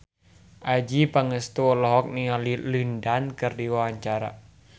Adjie Pangestu olohok ningali Lin Dan keur diwawancara